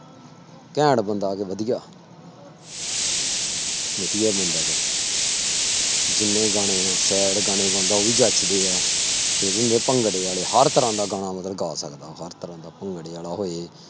ਘੈਂਟ ਬੰਦਾ ਵਧੀਆ ਵਧੀਆ ਬੰਦਾ ਵਾ ਜਿੰਨੇ ਗਾਣੇ ਆਂ sad ਗਾਣੇ ਗਾਉਂਦਾ, ਉਹ ਵੀ ਜਚਦੇ ਆ, ਭੰਗੜੇ ਵਾਲੇ ਹਰ ਤਰ੍ਹਾਂ ਦਾ ਗਾਣਾ ਮਤਲਬ ਗਾ ਸਕਦਾ ਉਹ ਹਰ ਤਰ੍ਹਾਂ ਦਾ ਭੰਗੜੇ ਵਾਲਾ ਹੋਏ,